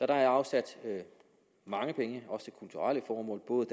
der er afsat mange penge også til kulturelle formål både